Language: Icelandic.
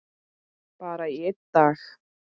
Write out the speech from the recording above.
Bara í einn dag.